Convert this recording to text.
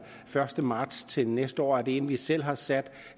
første marts til næste år er det en vi selv har sat